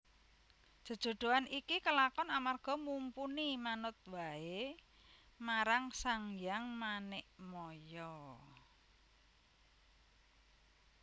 Jejodhoan iki kelakon amarga Mumpuni manut waé marang Sanghyang Manikmaya